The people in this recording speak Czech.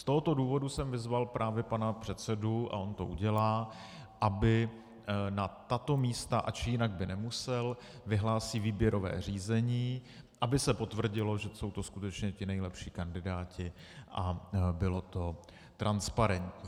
Z tohoto důvodu jsem vyzval právě pana předsedu, a on to udělá, aby na tato místa, ač jinak by nemusel, vyhlásí výběrové řízení, aby se potvrdilo, že jsou to skutečně ti nejlepší kandidáti, a bylo to transparentní.